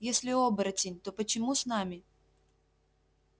если оборотень то почему с нами